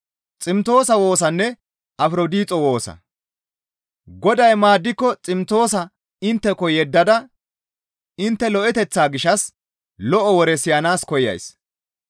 Goday maaddiko Ximtoosa intteko yeddada intte lo7eteththaa gishshas lo7o woreta siyanaas koyays.